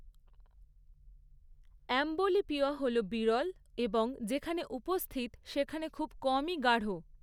Amblyopia হল বিরল এবং যেখানে উপস্থিত, সেখানে খুব কমই গাঢ়।